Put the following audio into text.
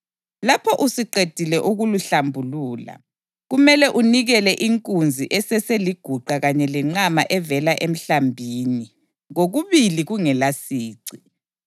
Lapho usuqedile ukulihlambulula, kumele unikele inkunzi eseseliguqa kanye lenqama evela emhlambini, kokubili kungelasici.